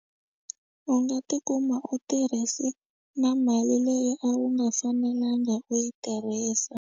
U nga tikuma u tirhise na mali leyi a wu nga fanelanga u yi tirhisa.